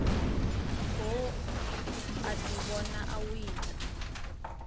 goo a ḓivhona o wina